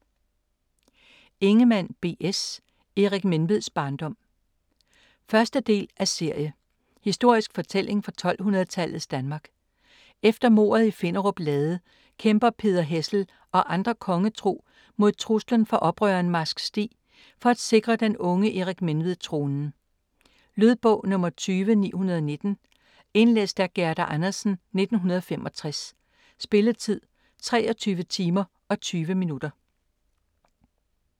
Ingemann, B. S.: Erik Menveds barndom 1. del af serie. Historisk fortælling fra 1200-tallets Danmark. Efter mordet i Finnerup Lade kæmper Peder Hessel og andre kongetro mod truslen fra oprøreren Marsk Stig for at sikre den unge Erik Menved tronen. Lydbog 20919 Indlæst af Gerda Andersen, 1965. Spilletid: 23 timer, 20 minutter.